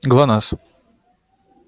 глонассс